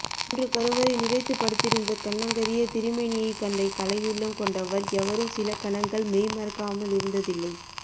மூன்று கருவறை நிறைத்து படுத்திருந்த கன்னங்கரிய திருமேனியை கண்ட கலையுள்ளம் கொண்டவர் எவரும் சில கணங்கள் மெய்மறக்காமலிருந்ததில்லை